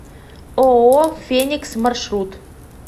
ооо феникс маршрут